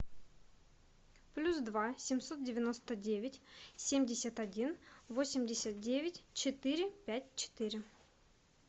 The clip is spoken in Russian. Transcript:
плюс два семьсот девяносто девять семьдесят один восемьдесят девять четыре пять четыре